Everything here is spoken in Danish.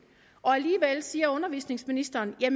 og alligevel siger undervisningsministeren det er